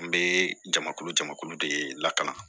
N bɛ jamakulu jamakulu de la